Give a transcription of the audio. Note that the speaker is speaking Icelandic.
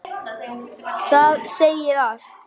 Það segir allt.